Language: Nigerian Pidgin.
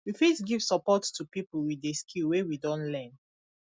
we fit give support to pipo with di skill wey we don learn